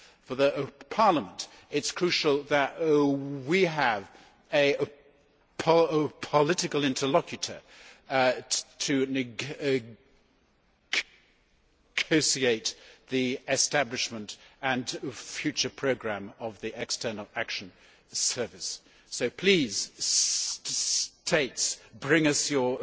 For Parliament, it is crucial that we have a political interlocutor to negotiate the establishment and future programme of the External Action Service, so, please, states bring us your